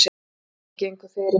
Strákarnir gengu fyrir.